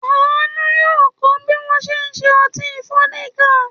Àánú yóò kọ́ bí wọ́n ṣe ń ṣe ọtí fódíkà.